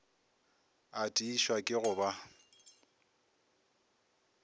a tiišwa ke go ba